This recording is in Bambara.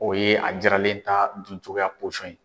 O ye a jiralen ta dun cogoya ye.